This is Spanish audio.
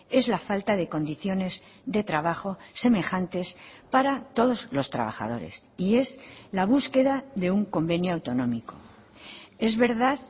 es la falta de condiciones de trabajo semejantes para todos los trabajadores y es la búsqueda de un convenio autonómico es verdad